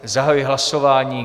Zahajuji hlasování.